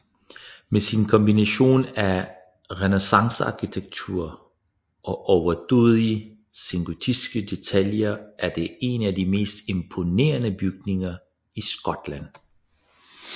Med sin kombination af renæssancearkitektur og overdådige sengotiske detaljer er det en af de mest imponerende bygninger i Skotland